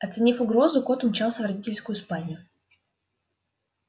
оценив угрозу кот умчался в родительскую спальню